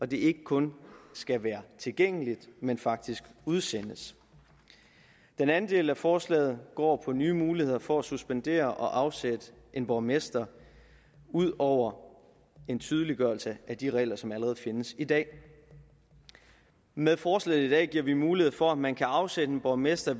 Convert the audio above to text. det ikke kun skal være tilgængeligt men faktisk udsendes den anden del af forslaget går på nye muligheder for at suspendere og afsætte en borgmester ud over en tydeliggørelse af de regler som allerede findes i dag med forslaget i dag giver vi mulighed for at man kan afsætte en borgmester